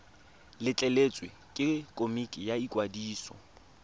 letleletswe ke komiti ya ikwadiso